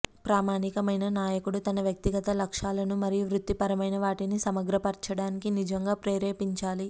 ప్రామాణికమైన నాయకుడు తన వ్యక్తిగత లక్ష్యాలను మరియు వృత్తిపరమైన వాటిని సమగ్రపరచడానికి నిజంగా ప్రేరేపించాలి